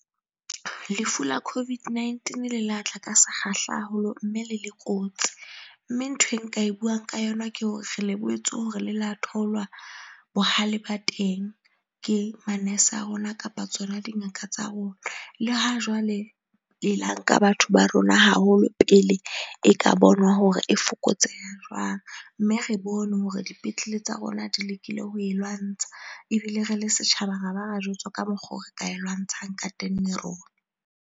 Lefu la COVID-19 le la tla ka sekgahla haholo mme le le kotsi. Mme ntho e nka e buang ka yona ke hore re lebohetse hore le la thoulwa bohale ba teng ke manese a rona kapa tsona dingaka tsa rona. Le ha jwale e la nka batho ba rona haholo pele e ka bonwa hore e fokotseha jwang, mme re bone hore dipetlele tsa rona di lekile ho e lwantsha ebile re le setjhaba ra ba ra jwetswa ka mokgwa oo re ka e lwantshang ka teng le rona.